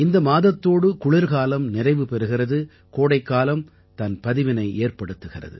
இந்த மாதத்தோடு குளிர்காலம் நிறைவு பெறுகிறது கோடைக்காலம் தன் பதிவினை ஏற்படுத்துகிறது